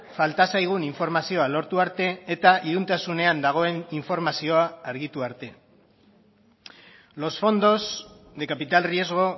falta zaigun informazioa lortu arte eta iluntasunean dagoen informazioa argitu arte los fondos de capital riesgo